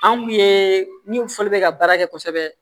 An kun ye min fɔ bɛ ka baara kɛ kosɛbɛ